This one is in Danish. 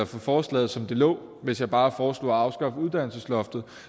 forslaget som det lå hvis jeg bare foreslog at afskaffe uddannelsesloftet